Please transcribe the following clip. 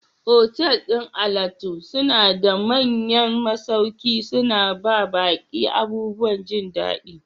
Otal ɗin alatu suna ba da manyan masauki, suna ba baƙi abubuwan jin daɗiI.